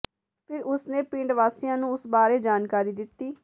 ਫਿਰ ਉਸ ਨੇ ਪਿੰਡ ਵਾਸੀਆਂ ਨੂੰ ਉਸ ਬਾਰੇ ਜਾਣਕਾਰੀ ਦਿੱਤੀ